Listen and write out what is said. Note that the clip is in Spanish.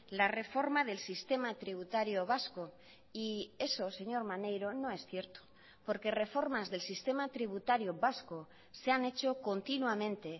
la reforma del sistema tributario vasco y eso señor maneiro no es cierto porque reformas del sistema tributario vasco se han hecho continuamente